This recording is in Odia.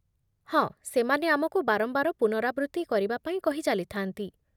ହଁ, ସେମାନେ ଆମକୁ ବାରମ୍ବାର ପୁନରାବୃତ୍ତି କରିବା ପାଇଁ କହି ଚାଲିଥାନ୍ତି।